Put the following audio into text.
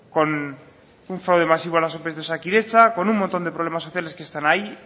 con un fraude masivo en las ope de osakidetza con un montón de problemas sociales que están ahí